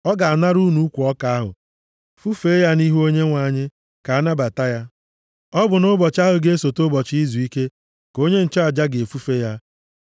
Ọ ga-anara unu ukwu ọka ahụ fufee ya nʼihu Onyenwe anyị, ka a nabata ya. Ọ bụ nʼụbọchị ahụ ga-esote ụbọchị izuike ka onye nchụaja ga-efufe ya.